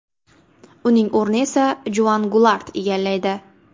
Uning o‘rnini esa Juan Gulart egallaydi.